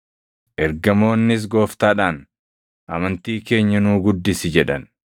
Ergamoonnis Gooftaadhaan, “Amantii keenya nuu guddisi” jedhan.